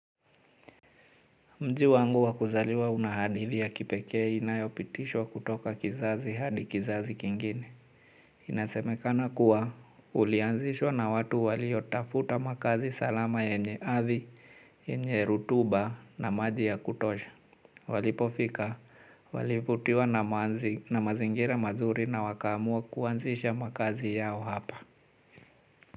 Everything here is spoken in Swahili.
Mji wangu wa kuzaliwa una hadithi ya kipekee inayopitishwa kutoka kizazi hadi kizazi kingine. Inasemekana kuwa ulianzishwa na watu waliotafuta makazi salama yenye ardhi, yenye rutuba na maji ya kutosha. Walipofika, walivutiwa na mazingira mazuri na wakaamua kuanzisha makazi yao hapa.